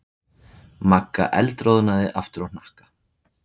Magga eldroðnaði aftur á hnakka.